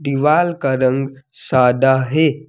दीवाल का रंग सादा है।